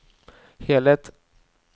helhet